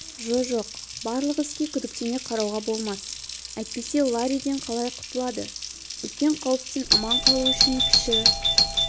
жо-жоқ барлық іске күдіктене қарауға болмас әйтпесе ларриден қалай құтылады үлкен қауіптен аман қалу үшін кіші